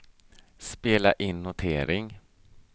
spela in notering